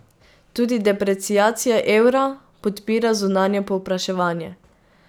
Tudi depreciacija evra podpira zunanje povpraševanje.